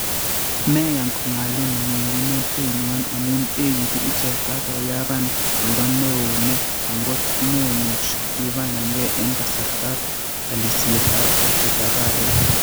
Meyan kong'aalin minginotenywan amu eegitu ichek ak konyapan oldo neoo ne angot komemuch ipangan gee en kasartab alisietab arek